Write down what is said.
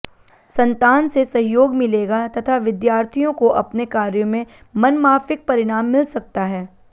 संतान से सहयोग मिलेगा तथा विद्यार्थियों को अपने कार्यो में मनमाफिक परिणाम मिल सकता है